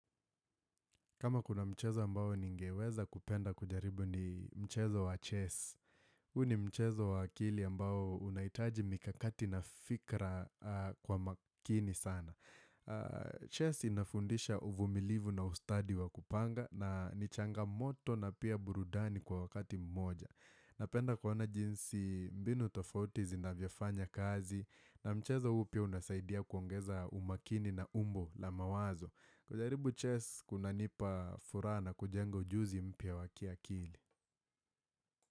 Kama kuna mchezo ambao ningeweza kupenda kujaribu ni mchezo wa chess huu ni mchezo wa akili ambao unahitaji mikakati na fikra kwa makini sana Chess inafundisha uvumilivu na ustadi wa kupanga na nichangamoto na pia burudani kwa wakati mmoja Napenda kuona jinsi mbinu tofauti zinavyofanya kazi na mchezo huu pia unasaidia kuongeza umakini na umbo la mawazo kujaribu chess kunanipa furaha na kujenga ujuzi mpya wa kiakili.